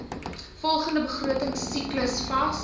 volgende begrotingsiklus vas